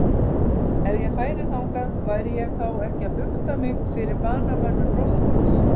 Ef ég færi þangað, væri ég þá ekki að bukta mig fyrir banamönnum bróður míns?